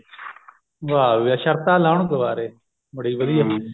ਵਾ ਵੀ ਵਾ ਸ਼ਰਤਾਂ ਲਾਉਣ ਕਵਾਰੇ